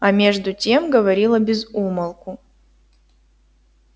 а между тем говорила без умолку